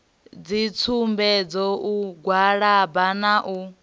dzitsumbedzo u gwalaba na u